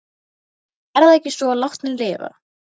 Er það ekki svo að látnir lifa?